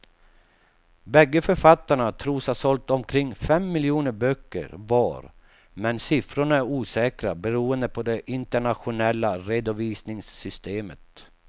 Bägge författarna tros ha sålt omkring fem miljoner böcker var men siffrorna är osäkra beroende på det internationella redovisningssystemet.